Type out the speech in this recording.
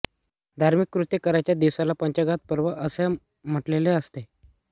धार्मिक कृत्ये करायच्या दिवसाला पंचागात पर्व असे म्हटलेले असते